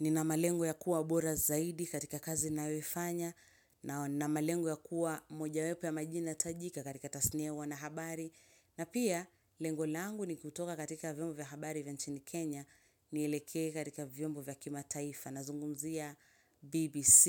Nina malengo ya kuwa bora zaidi katika kazi nayoifanya na nna malengo ya kuwa mojawepo ya majina tajika katika tasnia ya uanahabari. Na pia, lengo langu ni kutoka katika vyombo vya habari vya nchini Kenya nielekee katika vyombo vya kimataifa nazungumzia BBC,